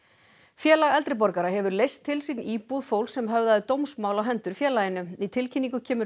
félag eldri borgara hefur leyst til sín íbúð fólks sem höfðaði dómsmál á hendur félaginu í tilkynningu kemur